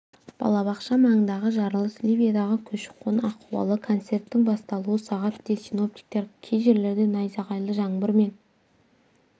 балабақша маңындағы жарылыс ливиядағы көші-қон ахуалы концерттің басталуы сағат де синоптиктер кей жерлерде найзағайлы жаңбыр мен